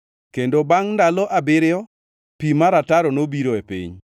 Kendo bangʼ ndalo abiriyo pi mar ataro nobiro e piny.